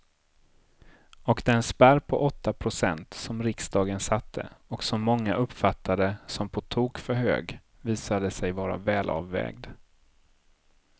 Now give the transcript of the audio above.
Och den spärr på åtta procent som riksdagen satte och som många uppfattade som på tok för hög visade sig vara välavvägd.